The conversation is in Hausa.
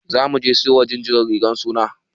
Za muje siyo ma jinjiran rigan suna.